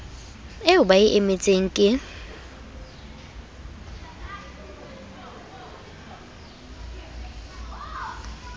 eo ba e emetseng ke